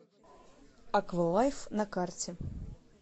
аква лайф на карте